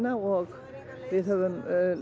og við höfum